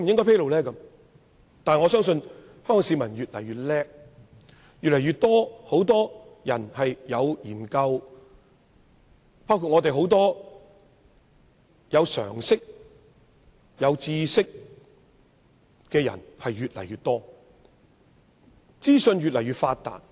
不過，我相信，香港市民越來越聰明，越來越多人了解時事，有常識及知識的人亦越來越多，因為資訊越來越發達。